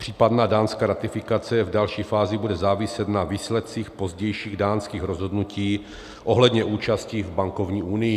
Případná dánská ratifikace v další fázi bude záviset na výsledcích pozdějších dánských rozhodnutí ohledně účasti v bankovní unii.